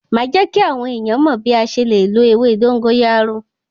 Màá jẹ́ kí àwọn èèyàn mọ̀ bí a ṣe le lo ewé dógóyárò.